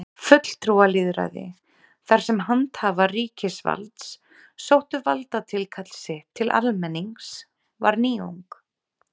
Fulltrúalýðræði, þar sem handhafar ríkisvalds sóttu valdatilkall sitt til almennings, var nýjung.